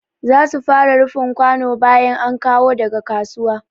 Za su fara rufin kwano bayan an kawo daga kasuwa.